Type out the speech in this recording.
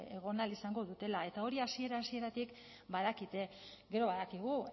egon ahal izango dutela eta hori hasiera hasieratik badakite gero badakigu